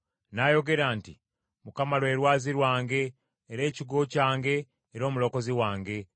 N’ayogera nti, “ Mukama lwe lwazi lwange, era ekigo kyange era omulokozi wange;